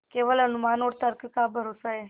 केवल अनुमान और तर्क का भरोसा है